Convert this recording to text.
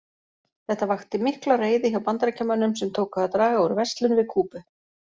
Þetta vakti mikla reiði hjá Bandaríkjamönnum sem tóku að draga úr verslun við Kúbu.